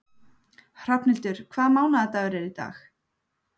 Hrafnhildur, hvaða mánaðardagur er í dag?